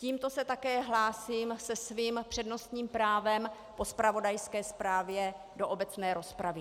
Tímto se také hlásím se svým přednostním právem po zpravodajské zprávě do obecné rozpravy.